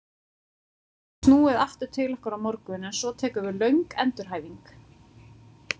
Hann gæti snúið aftur til okkar á morgun en svo tekur við löng endurhæfing.